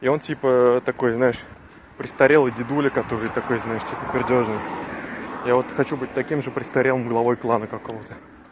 и он типа такой знаешь престарелый дедуля который такой знаешь типа пердёжник я вот хочу быть таким же престарелым главой клана какого-то